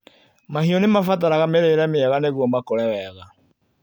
Mahiũ nĩmabataraga mĩrĩire mĩega nĩgũo makũre wega.